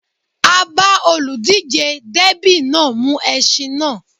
A bá olùdíjé dẹ́bì náà mú ẹṣin náà